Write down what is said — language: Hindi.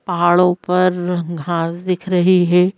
पहाड़ों पर घांस दिख रही है।